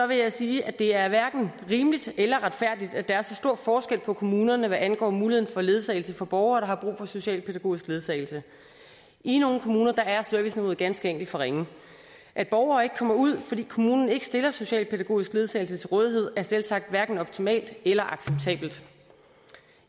vil jeg sige at det er hverken rimeligt eller retfærdigt at der er så stor forskel på kommunerne hvad angår muligheden for ledsagelse for borgere der har brug for socialpædagogisk ledsagelse i nogle kommuner er serviceniveauet ganske enkelt for ringe at borgere ikke kommer ud fordi kommunen ikke stiller socialpædagogisk ledsagelse til rådighed er selvsagt hverken optimalt eller acceptabelt